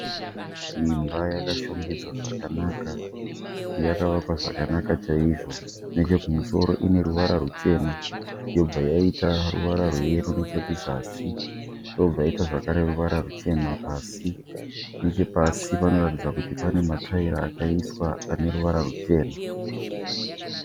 Imba yakashongedzwa zvakanaka. Yakavakwa zvakanaka chaizvo. Nechekumusoro ineruvara ruchena yobva yaita ruvara reyero nechekuzasi, yobva yaita zvakare ruvara ruchena pasi. Nechepasi panoratidza kuti pane matayira akaiswa aneruvara rwuchena.